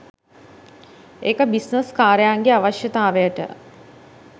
ඒක බිස්නස් කාරයන්ගේ අවශ්‍යතාවයට.